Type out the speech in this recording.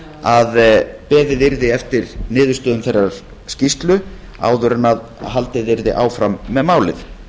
að beðið yrði eftir niðurstöðum þeirrar skýrslu áður en haldið yrði áfram með málið